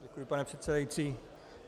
Děkuji, pane předsedající.